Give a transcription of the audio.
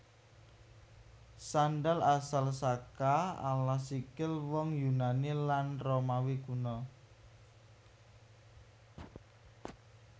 Sandal asal saka alas sikil wong Yunani lan Romawi Kuna